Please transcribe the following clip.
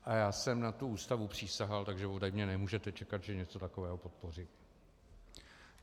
A já jsem na tu Ústavu přísahal, takže ode mě nemůžete čekat, že něco takového podpořím.